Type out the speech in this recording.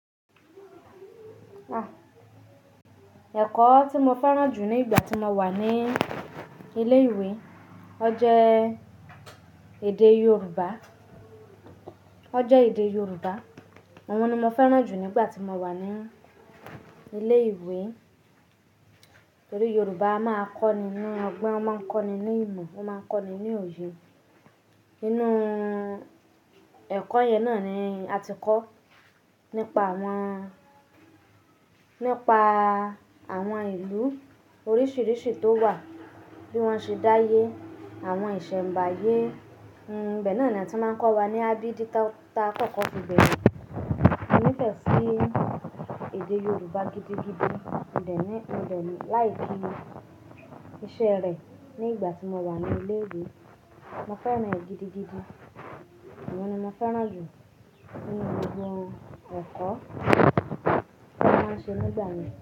Ekọ́ tí mo fẹ́ràn jù ní ìgbà tí mo wà ní ilé ìwé, ọ jẹ́ èdè Yoruba. Ọ jẹ́ èdè Yoruba. Òun ni mo fẹ́ràn jù nígbà tí mo wà ní ilé ìwé. Torí Yoruba a máa kọ́ ni ní ọgbọ́n, o máa ń kọ́ ni ní ìmọ̀, o máa ń kọ́ ni ní òye. Inú ẹ̀kọ́ yẹn náà ni a ti kọ́ nípa àwọn, nípa àwọn ìlú oríṣiríṣi tó wà, bí wọ́n ṣe d'áyé, àwọn ìṣẹ̀nbáyé. Hmm, ibe náà ni wọ́n ti máa ń kọ́ wa ní a b d tá, tá kọ̀ọ̀ko fi bẹ̀rẹ̀. Mo nífẹ̀ẹ́ sí èdè Yoruba gidigidi. Mo de ní, mo de like iṣẹ́ rẹ̀ nígbà tí mo wà ní ilé ìwé. Mo fẹ́ràn ẹ́ gidigidi. Òun ni mo fẹ́ràn jù nínú gbogbo ẹ̀kọ́ tí wọ́n máa ń ṣe nígbà náà.